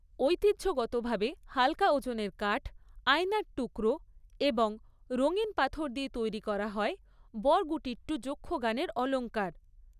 ঐতিহ্যগতভাবে হালকা ওজনের কাঠ, আয়নার টুকরো এবং রঙিন পাথর দিয়ে তৈরি করা হয় বড়গুটিট্টু যক্ষগানের অলঙ্কার।